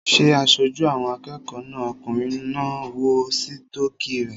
Ṣé aṣojú àwọn akẹ́kọ̀ọ́ náà okùnrin náà ń wọ sítọ́kì rẹ̀?